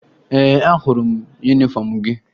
Ee, ahụrụ m yunifọmụ gị